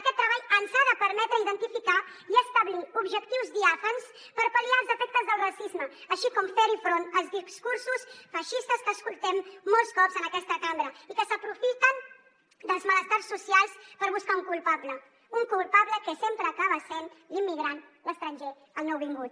aquest treball ens ha de permetre identificar i establir objectius diàfans per pal·liar els efectes del racisme així com fer front als discursos feixistes que escoltem molts cops en aquesta cambra i que s’aprofiten dels malestars socials per buscar un culpable un culpable que sempre acaba sent l’immigrant l’estranger el nouvingut